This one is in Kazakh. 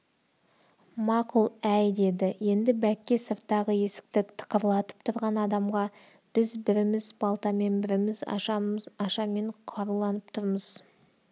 мақұл әй деді енді бәкке сырттағы есікті тықырлатып тұрған адамға біз біріміз балтамен біріміз ашамен қаруланып тұрмыз